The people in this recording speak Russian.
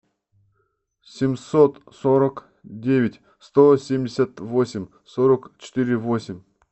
семьсот сорок девять сто семьдесят восемь сорок четыре восемь